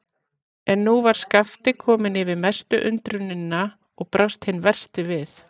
En nú var Skapti kominn yfir mestu undrunina og brást hinn versti við.